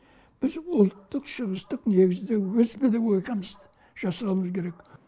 біз ұлттық шығыстық негізде өз педагогикамызды жасауымыз керек